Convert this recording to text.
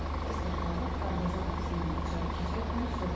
Ester xala darvaza qapısından içəri keçərkən soruşdu.